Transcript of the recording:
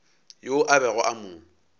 yoo a bego a mo